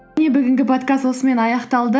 міне бүгінгі подкаст осымен аяқталды